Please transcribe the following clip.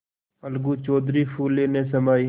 अलगू चौधरी फूले न समाये